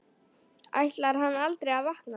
Ætlar hann aldrei að vakna?